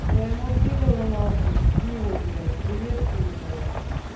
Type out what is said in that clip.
своему пидору нахуй филу блять привет передавай